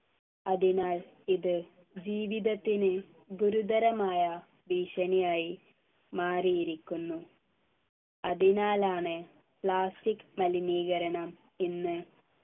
അതിനാൽ ഇത് ജീവിതത്തിനു ഗുരുതരമായ ഭീഷണിയായി മാറിയിരിക്കുന്നു അതിനാലാണ് plastic മലിനീകരണം ഇന്ന്